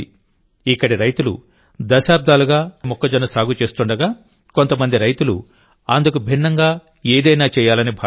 ఇక్కడి రైతులు దశాబ్దాలుగా సంప్రదాయ మొక్కజొన్న సాగు చేస్తుండగాకొంత మంది రైతులు అందుకు భిన్నంగా ఏదైనా చేయాలని భావించారు